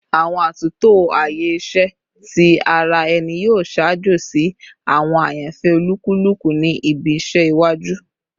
Awọn atunto aaye iṣẹ ti ara ẹni yoo ṣaajo si awọn ayanfẹ olukuluku ni ibi iṣẹ iwaju